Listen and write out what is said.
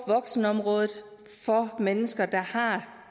voksenområdet for mennesker der har